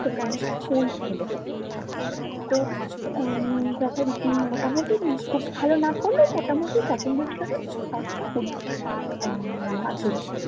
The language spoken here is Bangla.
তোকে আমি একটা ফোন কিনে দিবো তো উম তখন তিন মোটামোটি খুব ভালো নাহ করলেও মোটামোটি second division এ পাশটা করি উম মাধ্যমিক